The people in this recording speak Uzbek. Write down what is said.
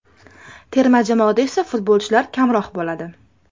Terma jamoada esa futbolchilar kamroq bo‘ladi.